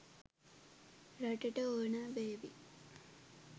රටට ඕනෑ වේවි.